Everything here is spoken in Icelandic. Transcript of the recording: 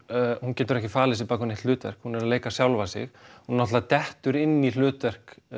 hún getur ekki falið sig á bak við neitt hlutverk hún er að leika sjálfa sig hún náttúrulega dettur inn í hlutverk